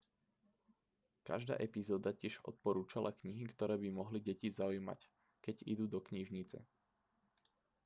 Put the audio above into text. každá epizóda tiež odporúčala knihy ktoré by mohli deti zaujímať keď idú do knižnice